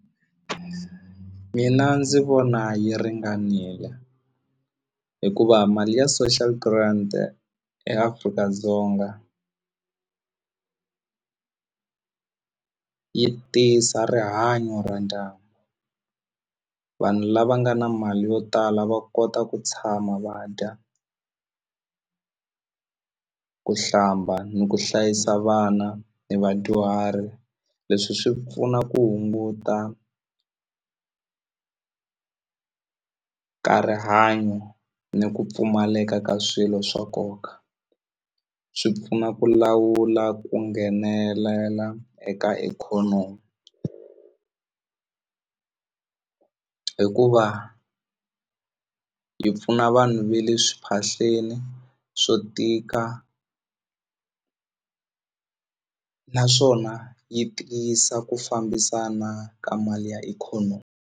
Mina ndzi vona yi ringanile hikuva mali ya social grant eAfrika-Dzonga yi tisa rihanyo ra ndyangu vanhu lava nga na mali yo tala va kota ku tshama va dya ku hlamba ni ku hlayisa vana ni vadyuhari leswi swi pfuna ku hunguta ka rihanyo ni ku pfumaleka ka swilo swa nkoka swi pfuna ku lawula ku nghenelela eka ikhonomi hikuva yi pfuna vanhu ve le swi phahleni swo tika naswona yi tiyisa ku fambisana ka mali ya ikhonomi.